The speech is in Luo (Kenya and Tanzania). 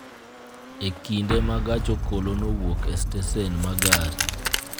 e kinde ma gach okolokowuok e stesen ma gari